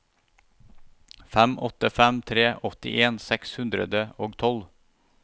fem åtte fem tre åttien seks hundre og tolv